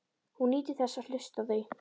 Hún nýtur þess að hlusta á þau.